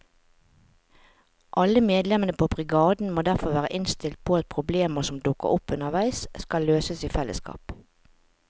Alle medlemmene på brigaden må derfor være innstilt på at problemer som dukker opp underveis skal løses i fellesskap.